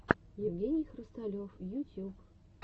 евгений хрусталев ютьюб